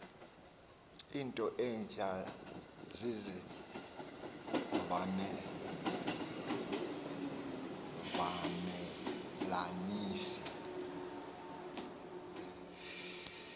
into entsha zizivamelanisi